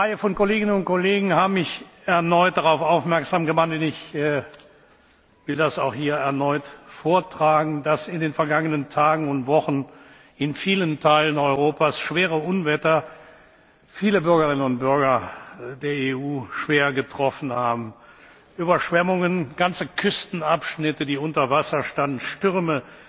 Eine Reihe von Kolleginnen und Kollegen haben mich erneut darauf aufmerksam gemacht, und ich will es hier auch erneut vortragen, dass in den vergangenen Tagen und Wochen in vielen Teilen Europas schwere Unwetter viele Bürgerinnen und Bürger der EU schwer getroffen haben Überschwemmungen, ganze Küstenabschnitte, die unter Wasser standen, Stürme,